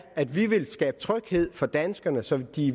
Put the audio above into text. at vi vil skabe tryghed for danskerne så de